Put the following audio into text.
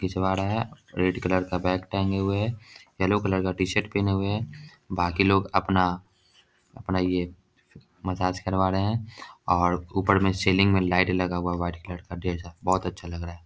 खिंचवा रहा है रेड कलर का बैग टांगे हुए है येलो कलर टी-शर्ट पहने हुए है बाकि लोग अपना अपना ये मसाज करवा रहे हैं और ऊपर में सीलिंग में लाइट लगा हुआ है वाइट कलर का ढेर सारा बहुत अच्छा लग रहा है।